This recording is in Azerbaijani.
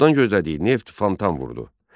Çoxdan gözlədiyi neft fontan vurdu.